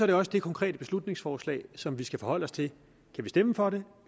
det også det konkrete beslutningsforslag som vi skal forholde os til kan vi stemme for det